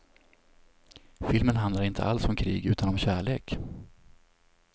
Filmen handlar inte alls om krig utan om kärlek.